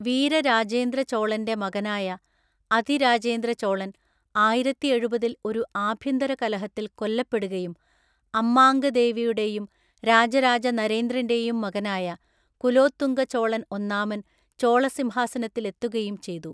വീരരാജേന്ദ്ര ചോളന്‍റെ മകനായ അതിരാജേന്ദ്ര ചോളൻ ആയിരത്തിഎഴുപതില്‍ ഒരു ആഭ്യന്തര കലഹത്തിൽ കൊല്ലപ്പെടുകയും അമ്മാംഗദേവിയുടെയും രാജരാജ നരേന്ദ്രന്‍റെയും മകനായ കുലോത്തുംഗ ചോളൻ ഒന്നാമൻ ചോള സിംഹാസനത്തിലെത്തുകയും ചെയ്തു.